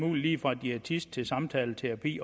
muligt lige fra diætist til samtaleterapeut